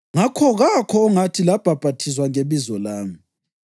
ngakho kakho ongathi labhaphathizwa ngebizo lami.